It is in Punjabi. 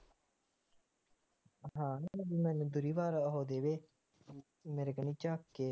ਹੈ ਕਹਿੰਦੀ ਮੈਂ ਦੂਰੀ ਵਾਰ ਉਹ ਦੇਦੇ ਮੇਰੇ ਕਨੀ ਚਾਕੇ ਹੈਂ ਮੇਰੇ ਕਿ ਵੱਸ ਆ ਹੁਣ ਮੇਰੇ ਕਨੀ ਚਾਕੇ ਜਾਵੇ ਹੇਨਾ ਯਾਰ ਨਹੀਂ ਹੁੰਦੀ ਹਾਂ ਹੁਣ ਉਹ ਟਾਇਮ ਹੋਰ ਸੀ ਇਹ ਟਾਇਮ ਹੋਰ ਆ।